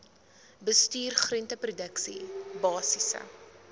bestuur groenteproduksie basiese